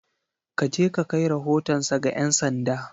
Ka je ka kai rahotonsa ga ’yan sanda!